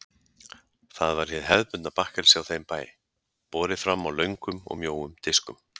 Það var hið hefðbundna bakkelsi á þeim bæ, borið fram á löngum og mjóum diskum.